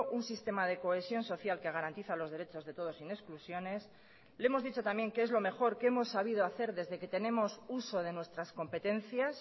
un sistema de cohesión social que garantiza los derechos de todos sin exclusiones le hemos dicho también que es lo mejor que hemos sabido hacer desde que tenemos uso de nuestras competencias